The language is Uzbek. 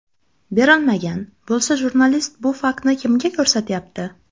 Berilmagan, bo‘lsa jurnalist bu faktni kimga ko‘rsatyapti?